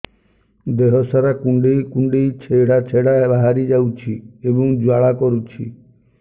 ଦେହ ସାରା କୁଣ୍ଡେଇ କୁଣ୍ଡେଇ ଛେଡ଼ା ଛେଡ଼ା ବାହାରି ଯାଉଛି ଏବଂ ଜ୍ୱାଳା କରୁଛି